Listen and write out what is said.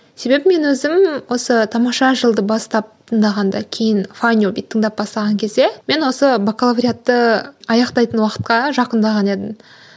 себебі мен өзім осы тамаша жылды бастап тыңдағанда кейін файндюбиді тыңдап бастаған кезде мен осы бакалавриатты аяқтайтын уақытқа жақындаған едім